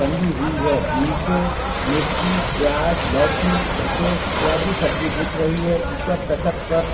टंगी हुई है निचे मिर्ची प्याज़ लौकी भटे इत्यादि सब्जी दिख रही है ऊपर तखत पर--